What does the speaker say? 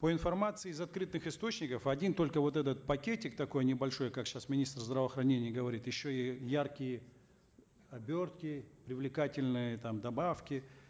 по информации из открытых источников один только вот этот пакетик такой небольшой как сейчас министр здравоохранения говорит еще и яркие обертки привлекательные там добавки